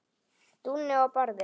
Dúna og Barði.